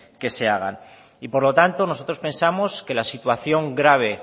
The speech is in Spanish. que se hagan y por lo tanto nosotros pensamos que la situación grave